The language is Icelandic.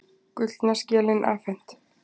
Gullna skelin afhent